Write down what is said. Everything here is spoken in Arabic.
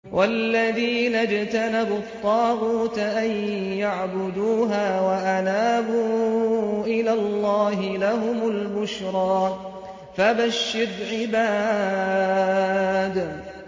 وَالَّذِينَ اجْتَنَبُوا الطَّاغُوتَ أَن يَعْبُدُوهَا وَأَنَابُوا إِلَى اللَّهِ لَهُمُ الْبُشْرَىٰ ۚ فَبَشِّرْ عِبَادِ